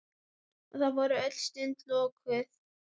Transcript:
Og þá voru öll sund lokuð!